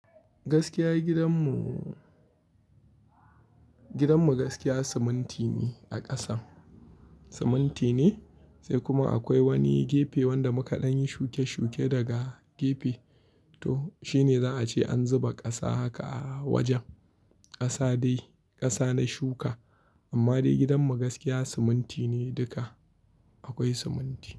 Gaskiya gidanmu, gidanmu gaskiya siminti ne a ƙasan, siminti ne sai kuma akwai wani gefe wanda mukaɗan yi shuke-shuke daga gefe. To shine za a ce an zuba ƙasa haka a wajen, ƙasa dai ƙasa na shuka. Amma dai gidanmu gaskiya siminti ne duka, akwai siminti.